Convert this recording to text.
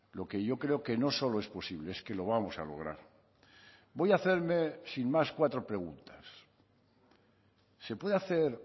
lo que yo creo que no solo es posible es que lo vamos a lograr voy a hacerme sin más cuatro preguntas se puede hacer